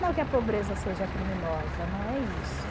Não que a pobreza seja criminosa, não é isso.